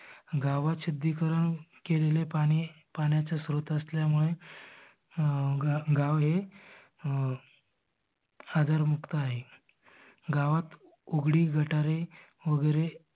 गावात शुद्दिकरण केलेले पाणी पाण्याचे श्रोत असल्यामुळे गाव हे अं आजार मुक्त आहे. गावात उघडी गटारे वगेरे